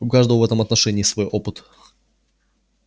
у каждого в этом отношении свой опыт